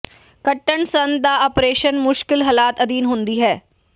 ਕੱਟਣ ਸੰਦ ਦਾ ਆਪਰੇਸ਼ਨ ਮੁਸ਼ਕਲ ਹਾਲਾਤ ਅਧੀਨ ਹੁੰਦੀ ਹੈ